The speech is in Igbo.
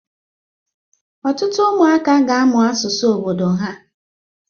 Ọtụtụ ụmụaka ga-amụ asụsụ obodo ha